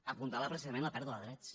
apuntalar precisament la pèrdua de drets